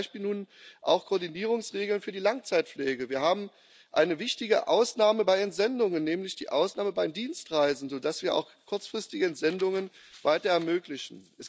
Wir haben zum Beispiel nun auch Koordinierungsregeln für die Langzeitpflege, wir haben eine wichtige Ausnahme bei Entsendungen, nämlich die Ausnahmen bei Dienstreisen, sodass wir auch kurzfristige Entsendungen weiter ermöglichen.